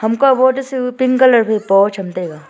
hum ko wol toh chu pink colour phai po chu tai tai ga.